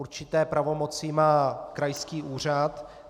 Určité pravomoci má krajský úřad.